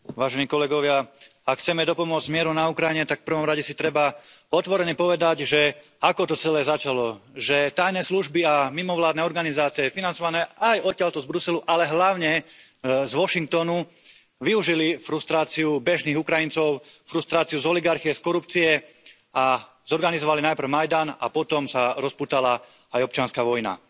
Vážený pán predsedajúci, vážení kolegovia. Ak chceme dopomôcť mieru na Ukrajine, tak v prvom rade si treba otvorene povedať, že ako to celé začalo. Že tajné služby a mimovládne organizácie, financované aj odtiaľto z Bruselu, ale hlavne z Washingtonu, využili frustráciu bežných Ukrajincov, frustráciu z oligarchie, z korupcie a zorganizovali najprv majdan a potom sa rozpútala aj občianska vojna.